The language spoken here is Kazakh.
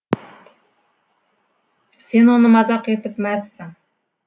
сен оны мазақ етіп мәзсің